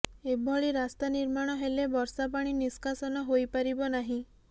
ଏଭଳି ରାସ୍ତା ନିର୍ମାଣ ହେଲେ ବର୍ଷା ପାଣି ନିଷ୍କାସନ ହୋଇପାରିବ ନାହିଁ